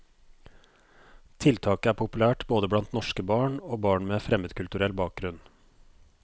Tiltaket er populært både blant norske barn og barn med fremmedkulturell bakgrunn.